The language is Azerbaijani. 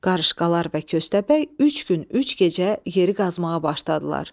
Qarışqalar və Köstəbək üç gün, üç gecə yeri qazmağa başladılar.